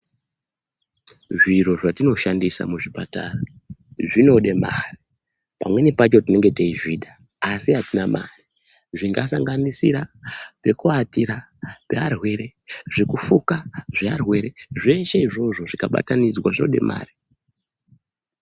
Zviro zvatinoshandisa muzvipatara zvinode mare, pamweni pacho tinenge teizvida asi atina mare zvingasanganisira pekuatira pearwere, zvekufuka zvearwere zveshe izvozvo zvikabatanidzwa zvinode mare.